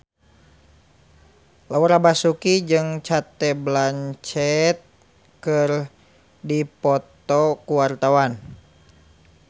Laura Basuki jeung Cate Blanchett keur dipoto ku wartawan